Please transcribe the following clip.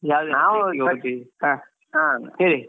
ನಾವ್